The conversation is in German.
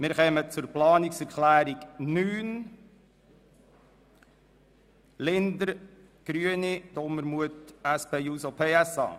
Wir kommen zur Planungserklärung 9 Linder/Grüne und Dumermuth/SP-JUSO-PSA.